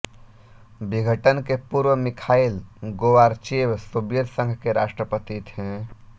विघटन के पूर्व मिखाइल गोर्वाचेव सोवियत संघ के राष्ट्रपति थे